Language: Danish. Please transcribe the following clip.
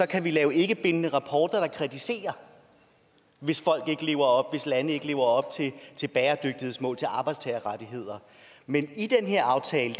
kan vi lave ikkebindende rapporter der kritiserer hvis lande ikke lever op til bæredygtighedsmål og arbejdstagerrettigheder men i den her aftale